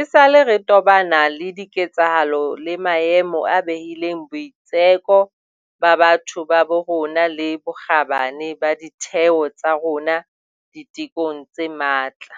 esale re tobana le diketsahalo le maemo a behileng boitseko ba batho ba bo rona le bokgabane ba ditheo tsa rona ditekong tse matla.